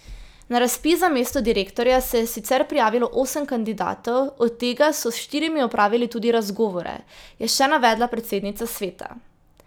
Na razpis za mesto direktorja se je sicer prijavilo osem kandidatov, od tega so s štirimi opravili tudi razgovore, je še navedla predsednica sveta.